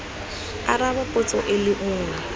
araba potso e le nngwe